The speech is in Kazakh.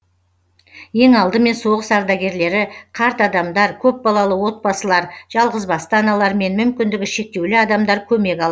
ең алдымен соғыс ардагерлері қарт адамдар көпбалалы отбасылар жалғызбасты аналар мен мүмкіндігі шектеулі адамдар көмек алады